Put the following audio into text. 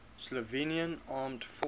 slovenian armed forces